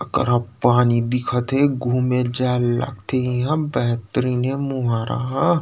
एकरा पानी दिखत हे घूमे जाये ल लगथे इहा बेहतरीन हे